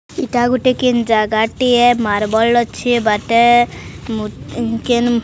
ଇଟା ଗୋଟେ କିନ୍ ଜାଗାଟିଏ ମାର୍ବଲ୍ ଅଛି ବାଟେ ମୁ ଉଁ କେନ୍ --